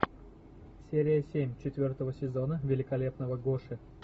серия семь четвертого сезона великолепного гоши